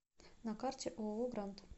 на карте ооо гранд